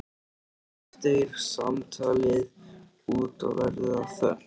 Oft deyr samtalið út og verður að þögn.